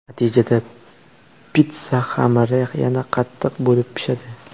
Natijada pitssa xamiri yana qattiq bo‘lib pishadi.